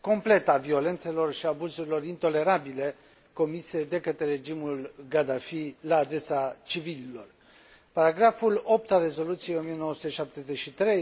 completă a violențelor și a abuzurilor intolerabile comise de către regimul Gaddafi la adresa civililor Paragraful 8 al Rezoluției 1973 a Consiliului de Securitate